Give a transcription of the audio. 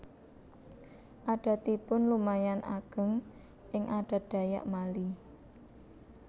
Adatipun lumayan ageng ing adat Dayak Mali